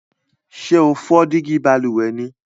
Sé o fo dígí balùwè ni?